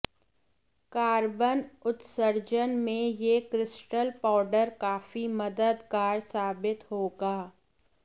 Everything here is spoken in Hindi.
कार्बन उत्सर्जन में यह क्रिस्टल पाउडर काफी मददगार साबित होगा